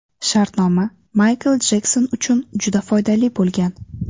Shartnoma Maykl Jekson uchun juda foydali bo‘lgan.